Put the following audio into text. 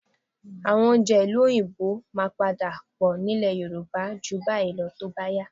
Àwọn oúnjẹ ìlú Òyìnbó máa padà pọ̀ nílẹ̀ Yorùbá ju báyìí lọ tó bá yá